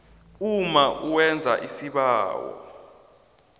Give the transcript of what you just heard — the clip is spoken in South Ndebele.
umma owenza isibawo